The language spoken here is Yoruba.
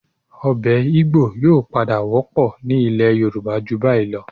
Ọbẹ̀ Igbò yóò padà wọ́pọ̀ ní ilẹ̀ Yorùbá ju báyìí lọ